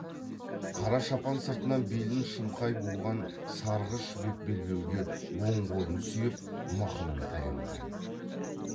қара шапан сыртынан белін шымқай буған сарғыш жібек белбеуге оң қолын сүйеп мықынын таянған